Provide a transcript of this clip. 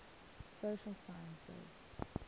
social sciences